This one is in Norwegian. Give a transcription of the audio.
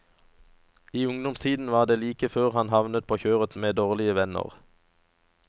I ungdomstiden var det like før han havnet på kjøret med dårlige venner.